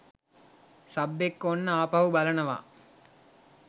Sub එක්ක ඔන්න ආපහු බලනවා.